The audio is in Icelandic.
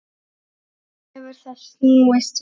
Nú hefur það snúist við.